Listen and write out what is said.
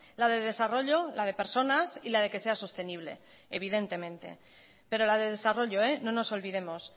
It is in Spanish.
la de desarrollo la de personas y la de que sea sostenible evidentemente pero la de desarrollo no nos olvidemos